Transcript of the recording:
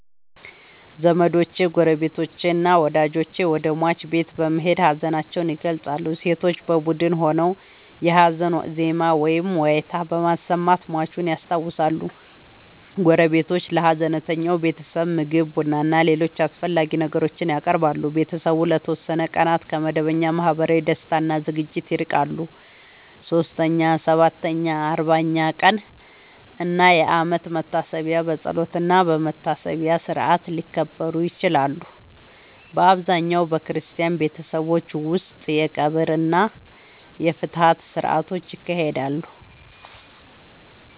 ዘመዶች፣ ጎረቤቶችና ወዳጆች ወደ ሟች ቤት በመሄድ ሀዘናቸውን ይገልጻሉ። ሴቶች በቡድን ሆነው የሀዘን ዜማ ወይም ዋይታ በማሰማት ሟቹን ያስታውሳሉ። ጎረቤቶች ለሀዘንተኛው ቤተሰብ ምግብ፣ ቡናና ሌሎች አስፈላጊ ነገሮችን ያቀርባሉ። ቤተሰቡ ለተወሰኑ ቀናት ከመደበኛ ማህበራዊ ደስታ እና ዝግጅቶች ይርቃል። 3ኛ፣ 7ኛ፣ 40ኛ ቀን እና የአመት መታሰቢያ በጸሎትና በመታሰቢያ ሥርዓት ሊከበሩ ይችላሉ። በአብዛኛው በክርስቲያን ቤተሰቦች ውስጥ የቀብር እና የፍትሐት ሥርዓቶች ይካሄዳሉ።